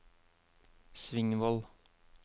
Svingvoll